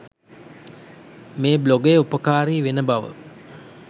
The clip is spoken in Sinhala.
මේ බ්ලොගය උපකාරී වෙන බව